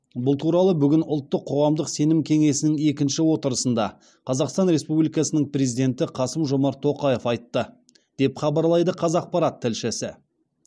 бұл туралы бүгін ұлттық қоғамдық сенім кеңесінің екінші отырысында қазақстан республикасының президенті қасым жомарт тоқаев айтты деп хабарлайды қазақпарат тілшісі